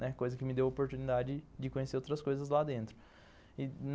Né, coisa que me deu a oportunidade de conhecer outras coisas lá dentro.